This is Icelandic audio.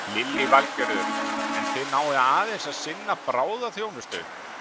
Lillý Valgerður: En þið náið aðeins að sinna bráðaþjónustu?